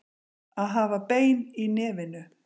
Að hafa bein í nefinu